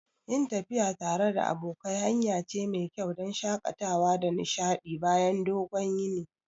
Yin tafiya tare da abokai hanya ce mai kyau don shakatawa da nishadi bayan dogon yini.